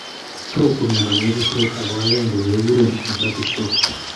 Stroke ko myondo neibu stress ako aende keguren hemorrhagic stroke